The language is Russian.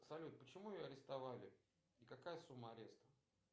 салют почему ее арестовали и какая сумма ареста